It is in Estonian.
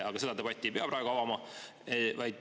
Aga seda debatti ei pea praegu avama.